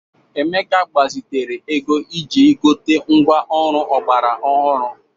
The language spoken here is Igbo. Emeka gbazitere ego iji gote ngwá ọrụ ọgbara ọhụrụ.